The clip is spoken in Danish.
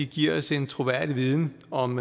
giver os en troværdig viden om